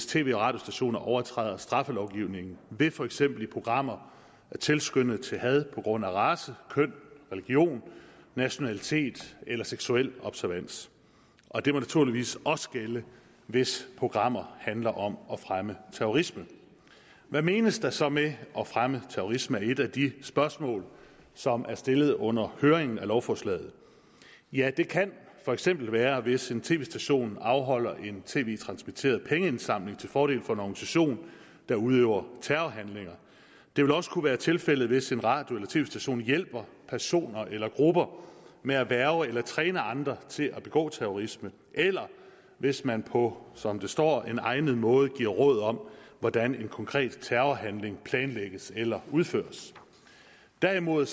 tv og radiostationer overtræder straffelovgivningen ved for eksempel i programmer at tilskynde til had på grund af race køn religion nationalitet eller seksuel observans og det må naturligvis også gælde hvis programmer handler om at fremme terrorisme hvad menes der så med at fremme terrorisme det er et af de spørgsmål som er stillet under høringen af lovforslaget ja det kan for eksempel være hvis en tv station afholder en tv transmitteret pengeindsamling til fordel for en organisation der udøver terrorhandlinger det vil også kunne være tilfældet hvis en radio eller tv station hjælper personer eller grupper med at hverve eller træne andre til at begå terrorisme eller hvis man på som der står en egnet måde giver råd om hvordan en konkret terrorhandling planlægges eller udføres derimod